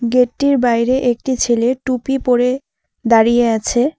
গেটটির বাইরে একটি ছেলে টুপি পড়ে দাঁড়িয়ে আছে।